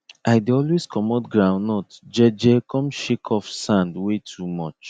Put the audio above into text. i dey always comot groundnut je je come shake off sand wey too much